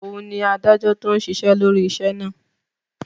Òun ni adájọ́ tó ń ṣiṣẹ́ lórí iṣẹ́ náà